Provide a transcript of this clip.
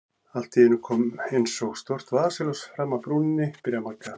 Allt í einu kom eins og stórt vasaljós fram af brúninni, byrjar Magga.